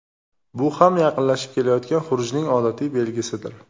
Bu ham yaqinlashib kelayotgan xurujning odatiy belgisidir.